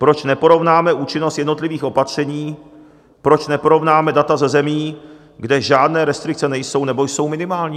Proč neporovnáme účinnost jednotlivých opatření, proč neporovnáme data ze zemí, kde žádné restrikce nejsou nebo jsou minimální?